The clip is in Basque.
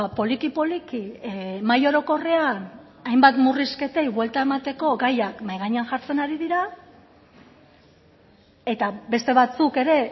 poliki poliki mahai orokorrean hainbat murrizketei buelta emateko gaiak mahai gainean jartzen ari dira eta beste batzuk ere